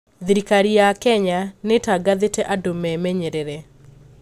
Thirikari ya Kenya nĩtangathĩte andũ memenyerere